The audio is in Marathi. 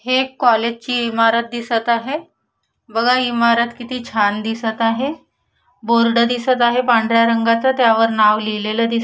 हे एक कॉलेज ची इमारत दिसत आहे बघा इमारत किती छान दिसत आहे बोर्ड दिसत आहे पांढऱ्या रंगाचा त्यावर नाव लिहलेलं दिस --